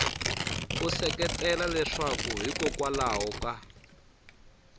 u seketela leswaku hikokwalaho ka